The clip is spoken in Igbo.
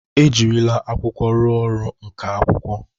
E jirila akwụkwọ rụọ ọrụ nka akwụkwọ.